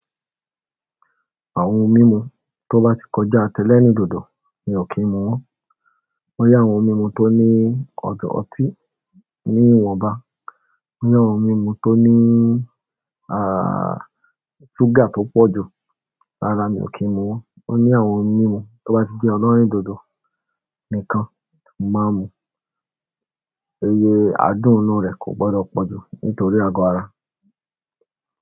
Àwọn ohun mímu tó bá ti kọjá tẹlẹ́rìndòdò, mi ò kí ń mu wọ́n. Ó ní àwọn ohun mímu tó ní ọtí ní ìwọ̀nba. Ó ní àwọn ohun mímu tó ní ṣúgà tó pọ̀ jù, rárá mi ò kí ń mu wọ́n. Ó ní àwọn ohun mímu tó bá ti jẹ́ ọlọ́rìndòdò nìkan mo màá ń mu. Iye àádùn inú rẹ̀ kò gbọdọ̀ pọ̀ jù nítorí àgọ́ ara.